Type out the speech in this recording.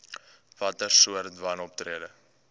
watter soorte wanoptrede